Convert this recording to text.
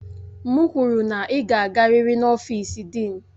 M kwuru na ị ga-agarịrị n'ọfịsi Dịịn!